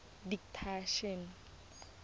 didactician